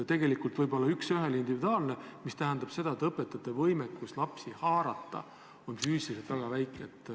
Võib korraldada üks ühele individuaalset õpet, mis tähendab aga seda, et õpetajate võimekus lastega tegelda on füüsiliselt väga väike.